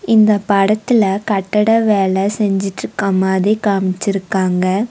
இந்த படத்துல கட்டட வேல செஞ்சிட்ருக்க மாரி காம்ச்சிருக்காங்க.